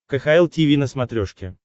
кхл тиви на смотрешке